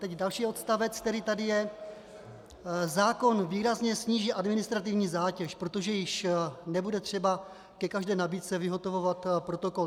Teď další odstavec, který tady je: Zákon výrazně sníží administrativní zátěž, protože již nebude třeba ke každé nabídce vyhotovovat protokol.